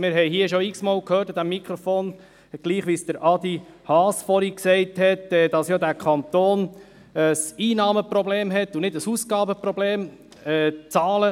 Wir haben hier an diesem Mikrofon schon x-mal gehört, dieser Kanton habe ein Einnahmenproblem und nicht ein Ausgabenproblem, wie es Adrian Haas vorhin gesagt hat.